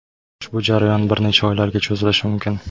Ushbu jarayon bir necha oylarga cho‘zilishi mumkin.